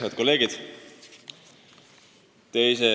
Head kolleegid!